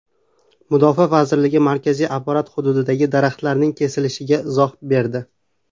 Mudofaa vazirligi markaziy apparat hududidagi daraxtlarning kesilishiga izoh berdi.